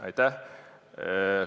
Aitäh!